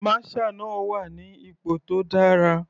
Masher náà wà ní ipò tó dára.